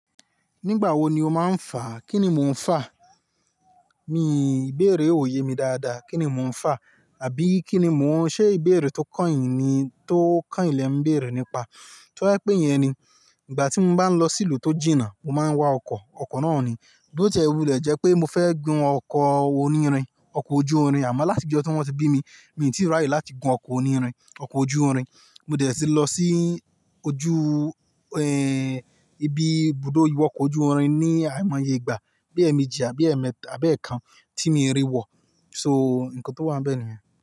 Nígbà wo ni o máa ń fà? Kí ni mo ń fà? Mi, ìbéèrè ò yé mi dáadáa. Kí ni mo ń fà? Àbí kí ni mo ṣe ìbéèrè tó kányìn ni, tó kányìn lè ń béèrè nípa? To ba je pé yẹn ni, ìgbà tí mo bá ń lọ sí ìlú tó jìnnà, mo máa ń wá ọkọ̀, ọkọ̀ náà ni. Bí ó ti e, wú lè jẹ́ pé mo fẹ́ gun ọkọ̀ onírin, ọkọ̀ ojú irin, àmọ́ láti ọjọ́ tí wọ́n ti bí mi, mi ò tíì rí àyè láti gun ọkọ̀ onírin, ọkọ̀ ojú irin. Mo dẹ̀ tí lọ sí ojú, ẹ́, ibi ibùdó ìwọkọ̀ ojú irin ní àìmọye ìgbà, bí ẹ́meji, a bí ẹ́metà, bẹ́ẹ̀ kan tí mi rí wọ. So, ǹkan tó wà ń bẹ ni yen.